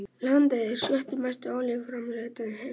Landið er sjötti mesti olíuframleiðandi heims